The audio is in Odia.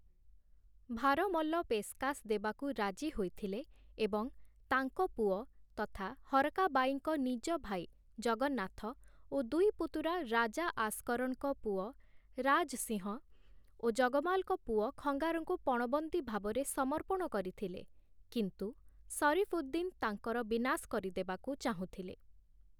ଭାରମଲ ପେଶ୍‌କାଶ୍ ଦେବାକୁ ରାଜି ହୋଇଥିଲେ ଏବଂ ତାଙ୍କ ପୁଅ ତଥା ହରକା ବାଈଙ୍କ ନିଜ ଭାଇ ଜଗନ୍ନାଥ ଓ ଦୁଇ ପୁତୁରା ରାଜା ଆସ୍‌କରଣଙ୍କ ପୁଅ ରାଜ ସିଂହ ଓ ଜଗମାଲଙ୍କ ପୁଅ ଖଙ୍ଗାରଙ୍କୁ ପଣବନ୍ଦୀ ଭାବରେ ସମର୍ପଣ କରିଥିଲେ କିନ୍ତୁ ସରିଫ୍ଉଦ୍‌ଦିନ୍ ତାଙ୍କର ବିନାଶ କରିଦେବାକୁ ଚାହୁଁଥିଲେ ।